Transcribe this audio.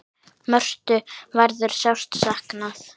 Mörthu verður sárt saknað.